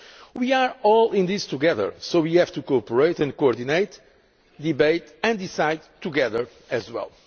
We are all in this together, so we have to cooperate, coordinate, debate and decide together as well.